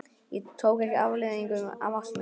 Ég tók ekki afleiðingum af ást minni.